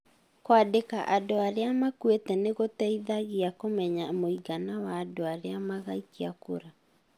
Kũandĩka andũ arĩa makuĩte nĩ gũteithagia kũmenya mũigana wa andu arĩa magaikia kura.